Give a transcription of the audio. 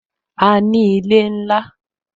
A ní ilé ńlá